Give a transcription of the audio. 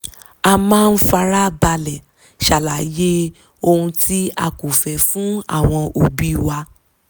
a máa ń fara balẹ̀ ṣàlàyé ohun tí a kò fẹ́ fún àwọn òbí wa